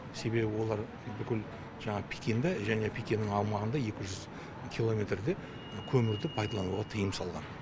себебі олар бүкіл жаңағы пекинді және пекиннің аумағында екі жүз километрде көмірді пайдалануға тыйым салған